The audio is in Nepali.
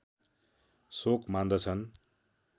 शोक मान्दछन्